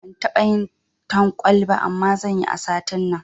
Ban taɓa yin talkwal ba, amma zanyi a satin nan.